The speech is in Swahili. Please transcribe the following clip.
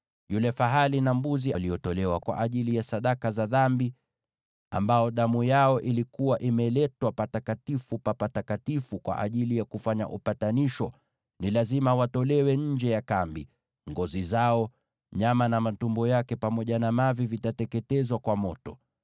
Yule fahali na mbuzi waliotolewa kwa ajili ya sadaka za dhambi, ambao damu yao ilikuwa imeletwa Patakatifu pa Patakatifu kwa ajili ya kufanya upatanisho, ni lazima watolewe nje ya kambi. Ngozi zao, nyama, na matumbo pamoja na mavi vitateketezwa kwa moto.